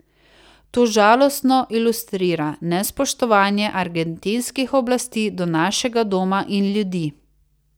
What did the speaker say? To žalostno ilustrira nespoštovanje argentinskih oblasti do našega doma in ljudi.